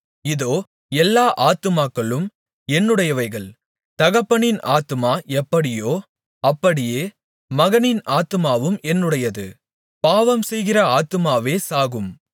இதோ எல்லா ஆத்துமாக்களும் என்னுடையவைகள் தகப்பனின் ஆத்துமா எப்படியோ அப்படியே மகனின் ஆத்துமாவும் என்னுடையது பாவம்செய்கிற ஆத்துமாவே சாகும்